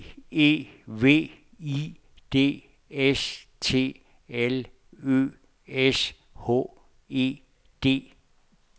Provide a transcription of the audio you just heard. B E V I D S T L Ø S H E D